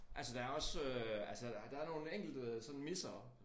Altså der også øh altså og der er nogle enkelte sådan missere